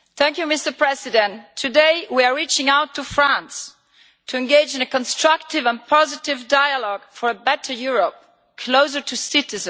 Mr President, today we are reaching out to France to engage in a constructive and positive dialogue for a better Europe, closer to citizens.